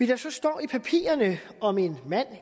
der så står i papirerne om en mand